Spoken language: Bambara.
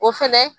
O fɛnɛ